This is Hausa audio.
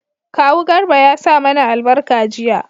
kawu garba ya sa mana albarka jiya